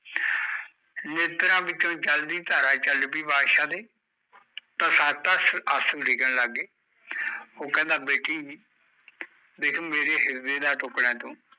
ਨੇਤਰਾ ਵਿੱਚੋਂ ਜਲ ਦੀ ਧਾਰਾ ਚੱਲ ਪਈ ਬਾਦਸ਼ਾਹ ਦੇ ਟਸਾ ਟਸ ਆਸੂ ਡਿੱਗਣ ਲੱਗਗੇ ਉਹ ਕਹਿੰਦਾ ਬੇਟੀ ਦੇਖ ਮੇਰੇ ਹਿਰਦੇ ਦਾ ਟੁਕੜਾ ਐ ਤੂੰ